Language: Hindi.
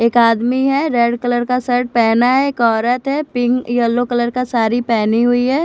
एक आदमी है रेड कलर का शर्ट पहना है एक औरत है पिंक येल्लो कलर का साड़ी पहनी हुई है।